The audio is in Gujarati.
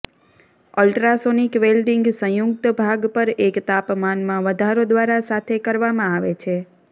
અલ્ટ્રાસોનિક વેલ્ડીંગ સંયુક્ત ભાગ પર એક તાપમાનમાં વધારો દ્વારા સાથે કરવામાં આવે છે